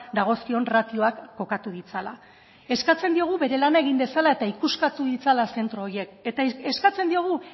dagozkion ratioak kokatu ditzala eskatzen diogu bere lana egin dezala eta ikuskatu ditzala zentro horiek eta eskatzen diogu